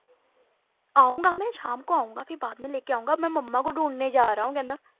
ਆਊਂਗਾ ਮੈਂ ਸ਼ਾਮ ਕੋ ਆਊਂਗਾ ਬਾਅਦ ਮੈਂ ਲੈਕੇ ਆਊਂਗਾ ਅਬ ਮੈਂ ਮੰਮਾ ਕੋ ਢੂੰਢਣੇ ਜਾ ਰਹਾ ਹੂੰ ਕਹਿੰਦਾ